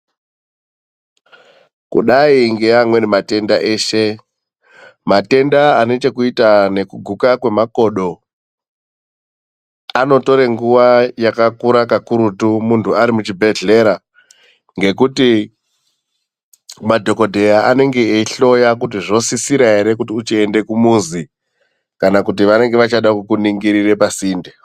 Kudai neamweni matenda eshe, matenda anechekuita nekuguka kwemakodo anotora nguva yakakura kwakurutu mundu ari muchibhedhlera ngokuti madhokodheya anenge eihloya kuti zvosisira here uchienda kumuzi kana kuti vanenge vachida kukuningira pasinde.